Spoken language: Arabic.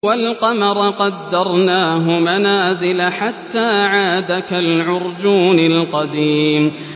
وَالْقَمَرَ قَدَّرْنَاهُ مَنَازِلَ حَتَّىٰ عَادَ كَالْعُرْجُونِ الْقَدِيمِ